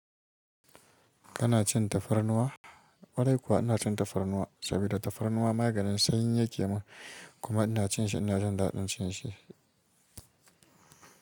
Kana cin tafarnuwa? kWarai kuwa ina cin tafarnuwa saboda tafarnuwa maganin sanyi yake mun. Kuma ina cin shi, ina jin daɗin cin shi.